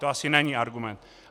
To asi není argument.